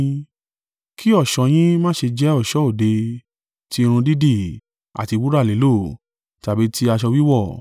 Kí ọ̀ṣọ́ yín má ṣe jẹ́ ọ̀ṣọ́ òde, tí irun dídì, àti wúrà lílò, tàbí ti aṣọ wíwọ̀;